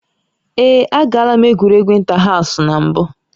Ee, agaala m egwuregwu ịntahaụsụ na mbụ